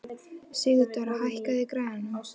Sigurdóra, hækkaðu í græjunum.